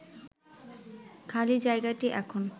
খালি জায়গাটি এখন